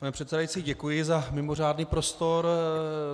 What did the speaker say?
Pane předsedající, děkuji za mimořádný prostor.